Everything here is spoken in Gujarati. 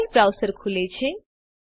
ફાઇલ browserખુલે છે